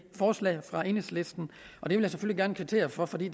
forslaget fra enhedslisten og det vil jeg selvfølgelig gerne kvittere for for det